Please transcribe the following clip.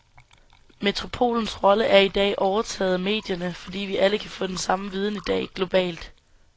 Metropolens rolle er i dag overtaget af medierne, fordi vi alle kan få den samme viden i dag, globalt.